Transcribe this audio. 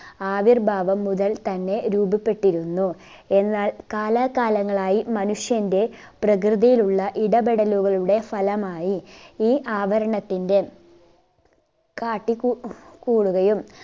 ആവിർഭാവം മുതൽ തന്നെ രൂപപ്പെട്ടിരുന്നു എന്നാൽ കാലാ കാലങ്ങളായി മനുഷ്യന്റെ പ്രകൃതിയിലുള്ള ഇടപെടലുകളുടെ ഫലമായി ഈ ആവരണത്തിന്റെ കാട്ടി കൂ കൂടുകയും